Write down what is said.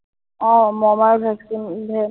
আহ মই মানে ভেচলিন যে